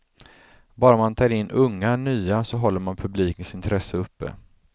Bara man tar in unga, nya, så håller man publikens intresse uppe.